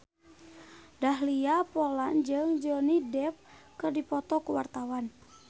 Dahlia Poland jeung Johnny Depp keur dipoto ku wartawan